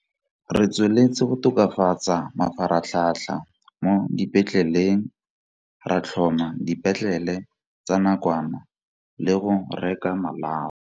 Re tsweletse go tokafatsa mafaratlhatlha mo dipetleleng, ra tlhoma dipetlele tsa nakwana le go reka malao.